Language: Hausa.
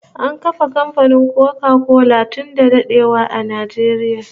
An kafa kamfanin Koka kola tun da dadewa a Najeriya